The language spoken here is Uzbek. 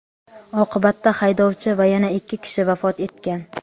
Oqibatda haydovchi va yana ikki kishi vafot etgan.